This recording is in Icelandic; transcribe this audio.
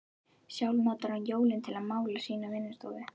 Sjálf notar hún jólin til að mála sína vinnustofu.